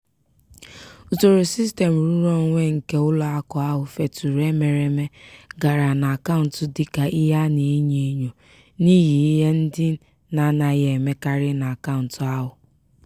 usoro sistem nrụrụonwe nke ụlọakụ ahụ feturu emereme gara n'akaụntụ dịka ihe a na-enyo enyo n'ihi ihe ndị na-anaghị emekarị n'akaụntụ ahụ.